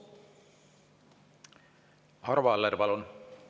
Arvo Aller, palun!